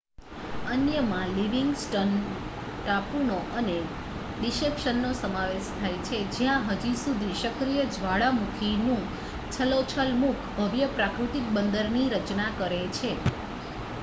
અન્યમાં લિવિંગ્સ્ટન ટાપુનો અને ડિસેપ્શનનો સમાવેશ થાય છે જ્યાં હજી સુધી સક્રિય જ્વાળામુખીનું છલોછલ મુખ ભવ્ય પ્રાકૃતિક બંદરની રચના કરે છે